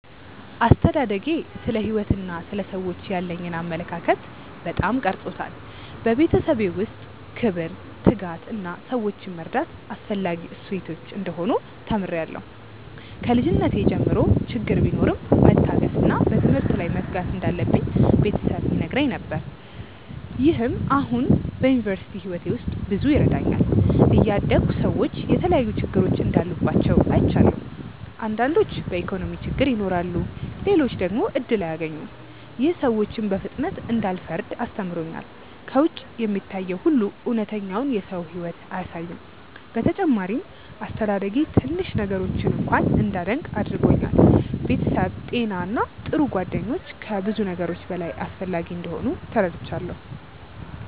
አስተዳደጌ ስለ ሕይወት እና ስለ ሰዎች ያለኝን አመለካከት በጣም ቀርጾታል። በቤተሰቤ ውስጥ ክብር፣ ትጋት እና ሰዎችን መርዳት አስፈላጊ እሴቶች እንደሆኑ ተምሬያለሁ። ከልጅነቴ ጀምሮ ችግር ቢኖርም መታገስ እና በትምህርት ላይ መትጋት እንዳለብኝ ቤተሰብ ይነግረኝ ነገር። ይህም አሁን በዩኒቨርሲቲ ሕይወቴ ውስጥ ብዙ ይረዳኛል። እያደግሁ ሰዎች የተለያዩ ችግሮች እንዳሉባቸው አይቻለሁ። አንዳንዶች በኢኮኖሚ ችግር ይኖራሉ፣ ሌሎች ደግሞ እድል አያገኙም። ይህ ሰዎችን በፍጥነት እንዳልፈርድ አስተምሮኛል። ከውጭ የሚታየው ሁሉ እውነተኛውን የሰው ሕይወት አያሳይም። በተጨማሪም አስተዳደጌ ትንሽ ነገሮችን እንኳ እንዳደንቅ አድርጎኛል። ቤተሰብ፣ ጤና እና ጥሩ ጓደኞች ከብዙ ነገሮች በላይ አስፈላጊ እንደሆኑ ተረድቻለሁ።